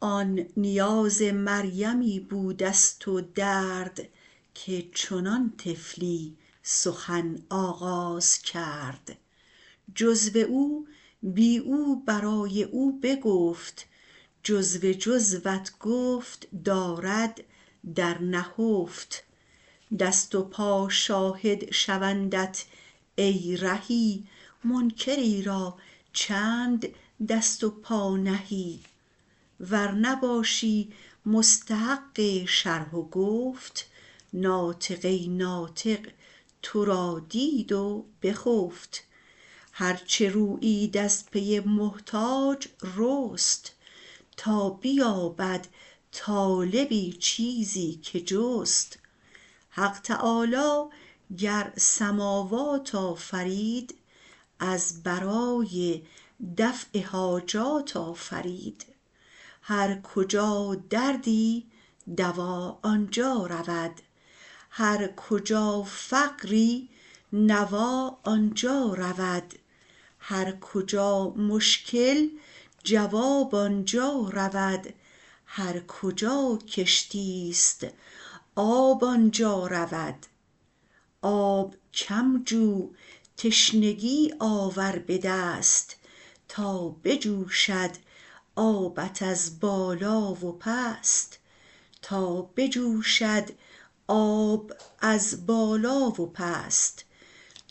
آن نیاز مریمی بوده ست و درد که چنان طفلی سخن آغاز کرد جزو او بی او برای او بگفت جزو جزوت گفت دارد در نهفت دست و پا شاهد شوندت ای رهی منکری را چند دست و پا نهی ور نباشی مستحق شرح و گفت ناطقه ناطق ترا دید و بخفت هر چه رویید از پی محتاج رست تا بیابد طالبی چیزی که جست حق تعالی گر سماوات آفرید از برای دفع حاجات آفرید هر کجا دردی دوا آنجا رود هر کجا فقری نوا آنجا رود هر کجا مشکل جواب آنجا رود هر کجا کشتی ست آب آنجا رود آب کم جو تشنگی آور به دست تا بجوشد آب از بالا و پست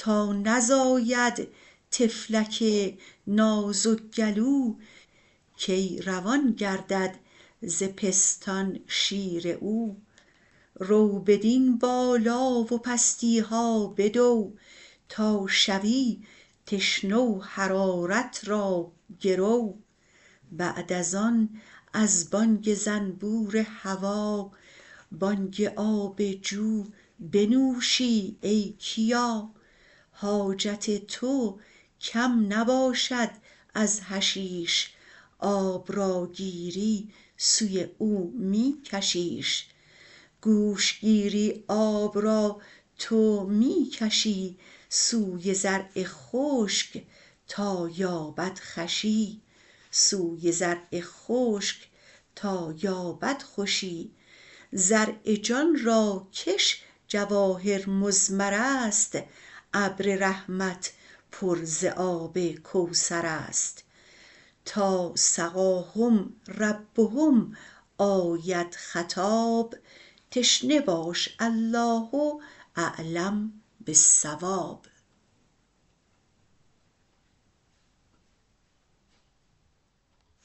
تا نزاید طفلک نازک گلو کی روان گردد ز پستان شیر او رو بدین بالا و پستی ها بدو تا شوی تشنه و حرارت را گرو بعد از آن از بانگ زنبور هوا بانگ آب جو بنوشی ای کیا حاجت تو کم نباشد از حشیش آب را گیری سوی او می کشیش گوش گیری آب را تو می کشی سوی زرع خشک تا یابد خوشی زرع جان را که ش جواهر مضمر ست ابر رحمت پر ز آب کوثر ست تا سقاهم ربهم آید خطاب تشنه باش الله اعلم بالصواب